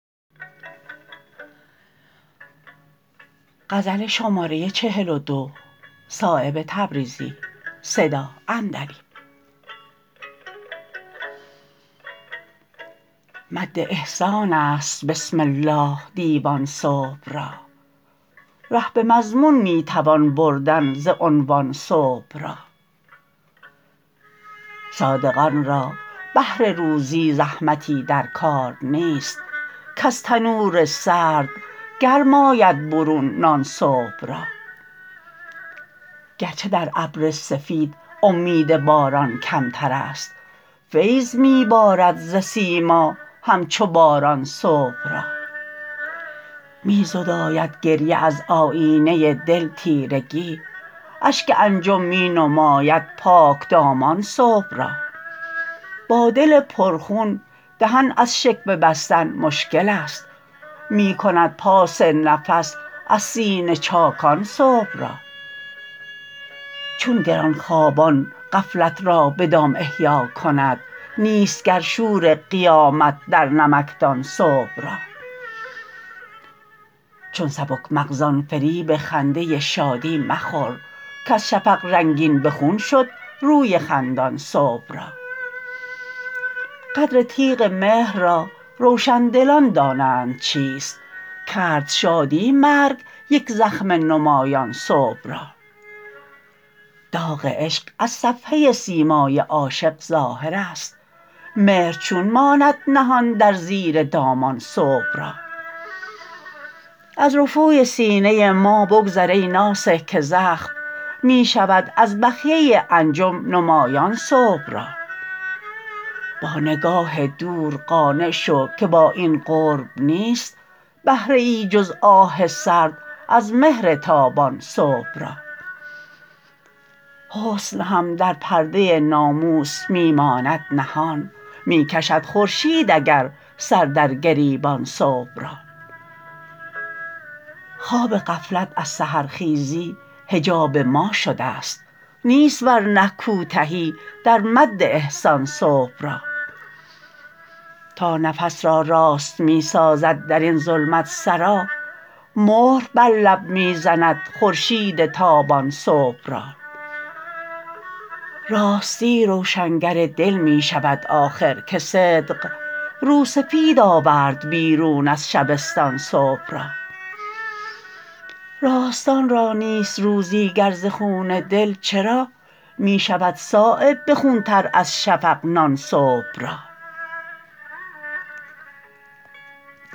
مد احسان است بسم الله دیوان صبح را ره به مضمون می توان بردن ز عنوان صبح را صادقان را بهر روزی زحمتی در کار نیست کز تنور سرد گرم آید برون نان صبح را گرچه در ابر سفید امید باران کمترست فیض می بارد ز سیما همچو باران صبح را می زداید گریه از آیینه دل تیرگی اشک انجم می نماید پاکدامان صبح را با دل پر خون دهن از شکوه بستن مشکل است می کند پاس نفس از سینه چاکان صبح را چون گرانخوابان غفلت را به دام احیا کند نیست گر شور قیامت در نمکدان صبح را چون سبک مغزان فریب خنده شادی مخور کز شفق رنگین به خون شد روی خندان صبح را قدر تیغ مهر را روشندلان دانند چیست کرد شادی مرگ یک زخم نمایان صبح را داغ عشق از صفحه سیمای عاشق ظاهرست مهر چون ماند نهان در زیر دامان صبح را از رفوی سینه ما بگذر ای ناصح که زخم می شود از بخیه انجم نمایان صبح را با نگاه دور قانع شو که با این قرب نیست بهره ای جز آه سرد از مهر تابان صبح را حسن هم در پرده ناموس می ماند نهان می کشد خورشید اگر سر در گریبان صبح را خواب غفلت از سحرخیزی حجاب ما شده است نیست ورنه کوتهی در مد احسان صبح را تا نفس را راست می سازد درین ظلمت سرا مهر بر لب می زند خورشید تابان صبح را راستی روشنگر دل می شود آخر که صدق رو سفید آورد بیرون از شبستان صبح را راستان را نیست روزی گر ز خون دل چرا می شود صایب به خون تر از شفق نان صبح را